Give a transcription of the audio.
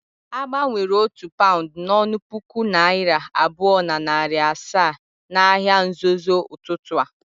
Agbanwere otu paund n'onu puku naira abuo na nari asaa n'ahia nzozo ututu a.